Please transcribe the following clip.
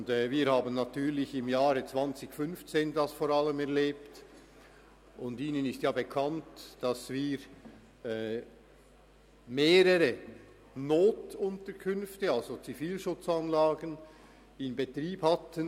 Wir haben dies vor allem im Jahr 2015 erlebt, und Ihnen ist bekannt, dass wir zu dieser Zeit mehrere Notunterkünfte (NUK), also Zivilschutzanlagen, in Betrieb hatten.